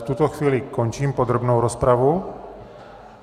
V tuto chvíli končím podrobnou rozpravu.